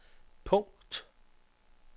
punkt